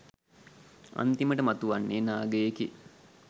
අන්තිමට මතුවන්නේ නාගයෙකි.